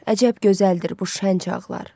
Əcəb gözəldir bu şən çağlar.